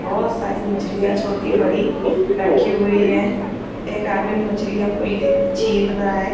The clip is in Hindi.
बहुत सारी मछलियाँ छोटी -बड़ी रखी हुई है एक आदमी मछली को ले छिल रहा हैं ।